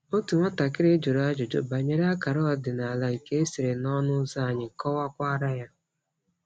Otu nwatakịrị jụrụ ajụjụ banyere akara ọdịnala nke e sere n'ọnụ ụzọ, anyị kọwakwara ya.